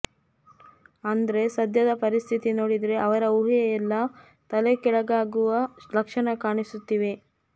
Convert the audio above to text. ಆದ್ರೆ ಸಧ್ಯದ ಪರಿಸ್ಥಿತಿ ನೋಡಿದ್ರೆ ಅವರ ಊಹೆಯೆಲ್ಲಾ ತಲೆಕೆಳಗಾಗುವ ಲಕ್ಷಣ ಕಾಣಿಸುತ್ತಿವೆ